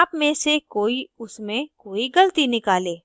आप में से कोई उसमें कोई गलती निकाले